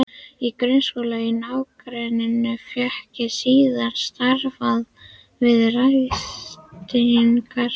Í grunnskóla í nágrenninu fékk ég síðan starf við ræstingar.